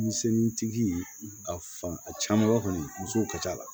Misɛnnintigi a fan a caman ba kɔni muso ka ca la